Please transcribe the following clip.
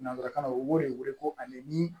Nanzarakan na u b'o de wele ko ale ni